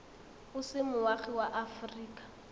o se moagi wa aforika